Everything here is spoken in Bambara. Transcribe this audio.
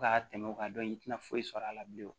Ka tɛmɛ o kan dɔn in i tɛna foyi sɔrɔ a la bilen